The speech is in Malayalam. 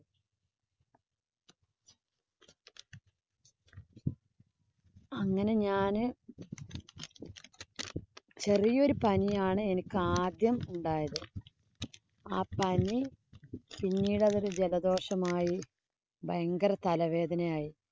അങ്ങനെ ഞാന് ചെറിയ ഒരു പനിയാണ് എനിക്കാദ്യം ഉണ്ടായത്. ആ പനി പിന്നെടതൊരു ജലദോഷമായി, ഭയങ്കര തല വേദനയായി.